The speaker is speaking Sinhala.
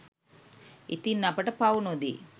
ඉතින් අපට පව් නොදී